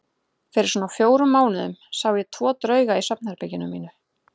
Fyrir svona fjórum mánuðum sá ég tvo drauga í svefnherberginu mínu.